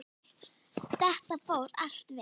Þetta fór allt vel.